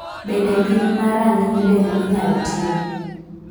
Bende pim ma rang'iny del inyalo tim?